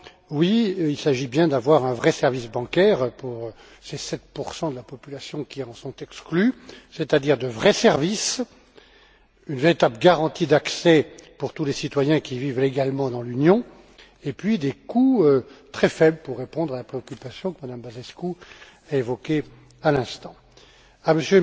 Oui, il s'agit bien d'avoir un vrai service bancaire pour ces 7 de la population qui en sont exclus, c'est à dire de vrais services, une véritable garantie d'accès pour tous les citoyens qui vivent légalement dans l'Union et également des coûts très faibles, pour répondre à la préoccupation que Mme Băsescu a évoquée à l'instant. Je rejoins